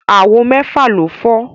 Àwo mẹ́fà ló fọ́